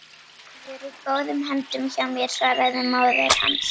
Hann verður í góðum höndum hjá mér svaraði móðir hans.